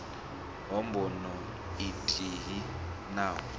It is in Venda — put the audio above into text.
ha bono ithihi na u